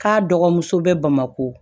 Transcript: K'a dɔgɔmuso bɛ bamako